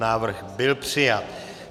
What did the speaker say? Návrh byl přijat.